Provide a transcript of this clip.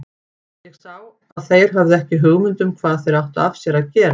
Ég sá að þeir höfðu ekki hugmynd um hvað þeir áttu af sér að gera.